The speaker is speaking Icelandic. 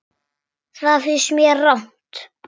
Það finnst mér rangt.